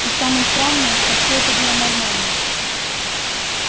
и самое странное что всё это было нормально